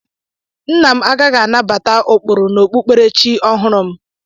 Nna m a gaghị anabata ụkpụrụ n'okpukperechi ọhụrụ m.